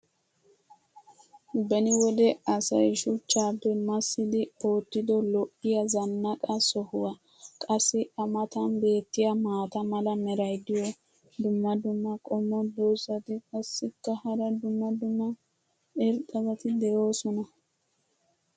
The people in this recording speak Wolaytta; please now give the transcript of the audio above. Beni wode asay shuchchaappe massidi ootido lo'iya zanaqqa sohuwa. qassi a matan beetiya maata mala meray diyo dumma dumma qommo dozzati qassikka hara dumma dumma irxxabati doosona.